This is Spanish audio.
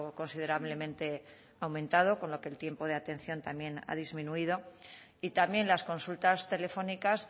considerablemente aumentado con lo que el tiempo de atención también ha disminuido y también las consultas telefónicas